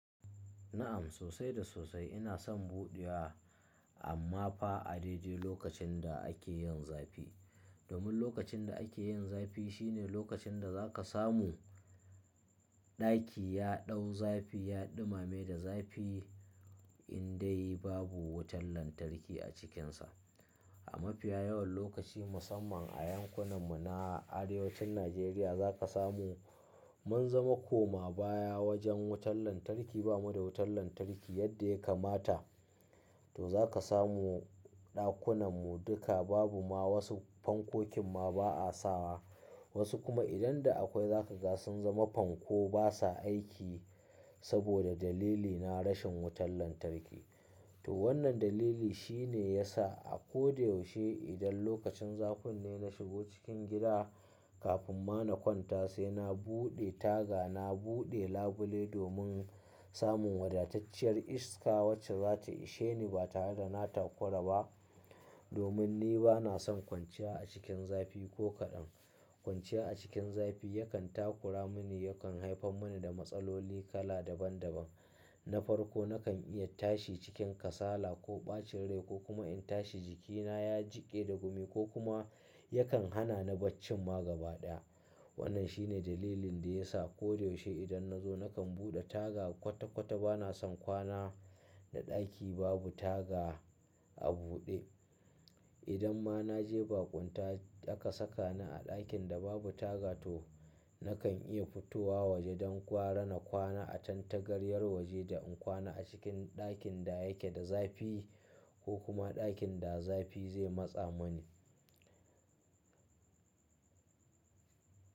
Na'am sosai da sosai ina son buɗewa amma fa a dai dai lokacin da ake yin zafi. Domin lokacin da ake yin zafi shine lokacin da za ka samu ɗaki ya ɗau zafi, ya ɗumame da zafi in dai babu wutan lantarki a cikinsa. A mafiya yawan lokaci musamman a yankunan mu na arewacin Najeriya za ka samu mun zama koma baya wajen wutan lantarki, bamu da wutan lantarki yadda ya kamata. To za ka samu ɗakunan mu duka babu ma wasu fankokin ma ba a sawa. Wasu kuma idan da akwai za ka ga sun zama fanko basa aiki saboda dalilina rashin wutan lantarki. To wannan dalili shine yasa a ko da yaushe idan lokacin zafin ne na shigo cikin gida kafin ma na kwanta sai na buɗe taga, na buɗe labule domin samun wadatacciyar iska wacce za ta ishe ni ba tare da na takura ba. Domin ni bana son kwanciya a cikin zafi ko kaɗan. Kwanciya a cikin zafi yakan takura mani, yakan haifar mani da matsaloli kala daban daban. Na farko nakan iya tashi cikin kasala ko ɓacin rai ko kuma in tashi jikina ya jiƙe da gumi ko kuma yakan hana na barcin ma gaba ɗaya. Wannan shine dalilin da ya sa ko da yaushe idan na zo nakan buɗe taga kwata kwata bana son kwana da ɗaki babu taga a buɗe. Idan ma na je baƙunta aka saka ni a ɗakin da babu taga to nakan iya fitowa waje don kwara na kwana a tantagariyar waje da in kwana a cikin ɗakin da yake da zafi ko kuma ɗakin da zafi zai matsa mani.